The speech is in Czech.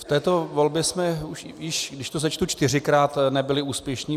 V této volbě jsme již, když to sečtu, čtyřikrát nebyli úspěšní.